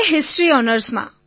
history ઑનર્સમાં